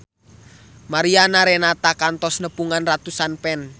Mariana Renata kantos nepungan ratusan fans